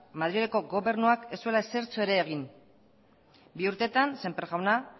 madrileko gobernuak ez zuela ezertxo ere egin bi urtetan sémper jauna